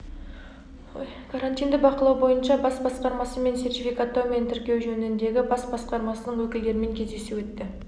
карантинді бақылау бойынша бас басқармасы мен сертификаттау мен тіркеу жөніндегі бас басқармасының өкілдерімен кездесу өтті